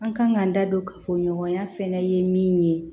An kan k'an da don kafo ɲɔgɔnya fɛnɛ ye min ye